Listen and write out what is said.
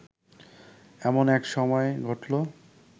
এমন এক সময়ে ঘটল